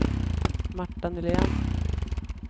Marta Nylén